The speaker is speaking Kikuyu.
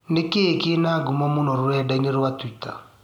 nĩ kĩ kĩna ngũmo mũno rũredaĩnĩ rwa tũĩta